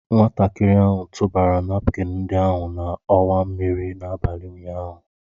Nwatakịrị ahụ tụbara napkin ndị ahụ n'ọwa mmiri n'abalị ụnyaahụ